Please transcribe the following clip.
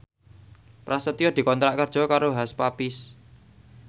Prasetyo dikontrak kerja karo Hush Puppies